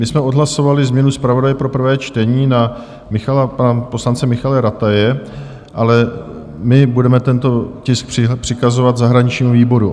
My jsme odhlasovali změnu zpravodaje pro prvé čtení na poslance Michala Rataje, ale nyní budeme tento tisk přikazovat zahraničnímu výboru.